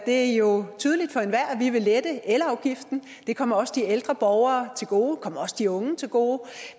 er jo tydeligt for enhver at vi vil lette elafgiften det kommer også de ældre borgere til gode det kommer også de unge til gode